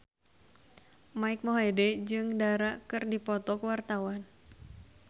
Mike Mohede jeung Dara keur dipoto ku wartawan